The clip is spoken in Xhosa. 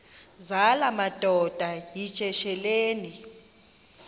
zala madoda yityesheleni